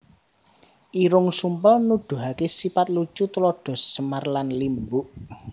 Irung Sumpel Nuduhaké sipat lucu tuladha Semar lan Limbuk